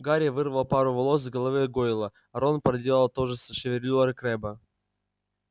гарри вырвал пару волос с головы гойла рон проделал то же с шевелюрой крэбба